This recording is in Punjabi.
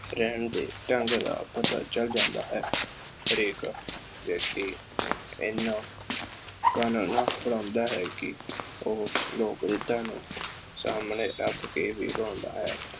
ਰਹਿਣ ਦੇ ਢੰਗ ਦਾ ਪਤਾ ਚੱਲ ਜਾਂਦਾ ਹੈ। ਹਰੇਕ ਵਿਅਕਤੀ ਐਨਾ ਫੜਾਉਂਦਾ ਹੈ ਕਿ ਉਹ ਲੋਕ ਰੀਤਾਂ ਨੂੰ ਸਾਹਮਣੇ ਰੱਖ ਕੇ ਨਿਭਾਉਂਦਾ ਹੈ।